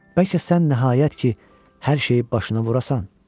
Bəlkə sən nəhayət ki, hər şeyi başına vurasan?